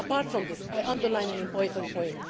Apart from this, I underline an important point.